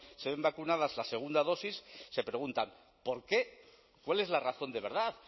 sean vacunadas la segunda dosis se preguntan por qué cuál es la razón de verdad